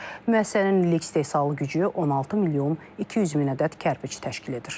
Müəssisənin illik istehsal gücü 16 milyon 200 min ədəd kərpiç təşkil edir.